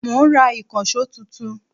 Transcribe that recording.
Mo ń rà ìkànsó tuntun